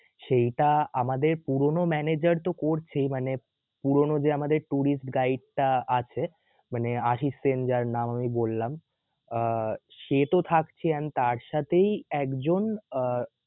সেইটা আমাদের পুরানো manager তো করছেই মানে পুরানো যে আমাদের Tourist guide টা আছে মানে আশিস সেন যার নাম আমি বললাম আহ সে তো থাকছেই and তার সাথেই একজন আহ